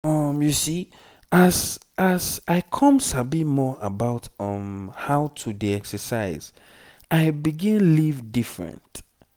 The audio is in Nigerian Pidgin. um as as i come sabi more about um how to dey exercise i begin live different.